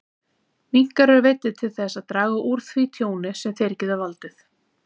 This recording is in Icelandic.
Minkar eru veiddir til þess að draga úr því tjóni sem þeir geta valdið.